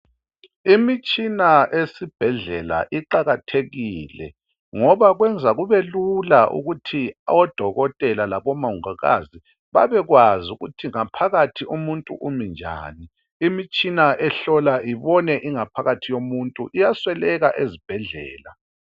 Imitshina esibhedlela iqakathekile ngoba kwenza kubelula ukuthi odokotela labomongikazi babekwazi ukuthi ngaphakathi umuntu uminjani imitshina ehlola ibone ingaphathi yomuntu iminjani iyasweleka ezibhedlela